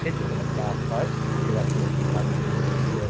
ঠিক যেখানে চাষ হয় সেরকম ধানে-এ-র বীজ আ--